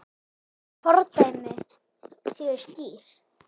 Fordæmi séu skýr.